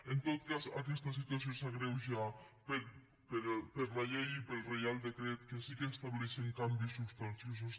en tot cas aquesta situació s’agreuja per la llei i pel reial decret que sí que estableixen canvis substanciosos